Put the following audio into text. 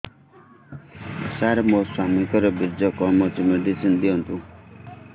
ସାର ମୋର ସ୍ୱାମୀଙ୍କର ବୀର୍ଯ୍ୟ କମ ଅଛି ମେଡିସିନ ଦିଅନ୍ତୁ